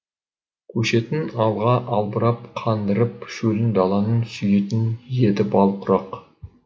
көшетін алға албырап қандырып шөлін даланың сүйетін еді бал құрақ